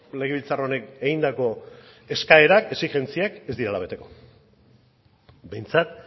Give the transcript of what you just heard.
legebiltzar honek egindako eskaerak exigentziak ez direla beteko behintzat